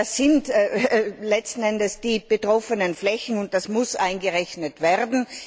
Ich meine, das sind letzten Endes die betroffenen Flächen, und das muss eingerechnet werden.